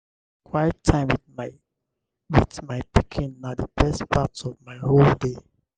quiet time with my with my pikin na the best part of my whole day.